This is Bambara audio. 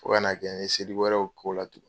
Fo ka na kɛ n ye seli wɛrɛw k'o la tuguni.